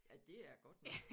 Ja det er det godt nok